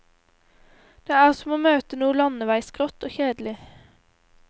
Det er som å møte noe landeveisgrått og kjedelig.